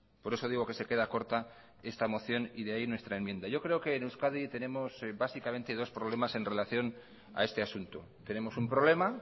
por eso digo que se queda corta esta moción y de ahí nuestra enmienda yo creo que en euskadi tenemos básicamente dos problemas en relación a este asunto tenemos un problema